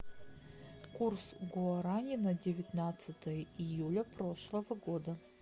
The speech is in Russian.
курс гуарани на девятнадцатое июля прошлого года